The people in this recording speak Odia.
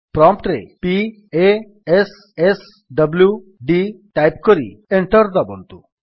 ପ୍ରମ୍ପ୍ଟ୍ ରେ p a s s w d type କରି ଏଣ୍ଟର୍ ଦାବନ୍ତୁ